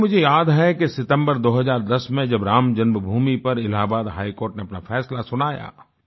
साथियो मुझे याद है कि सितम्बर 2010 में जब राम जन्मभूमि पर इलाहाबाद हाईकोर्ट ने अपना फैसला सुनाया